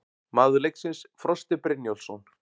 Maður leiksins: Frosti Brynjólfsson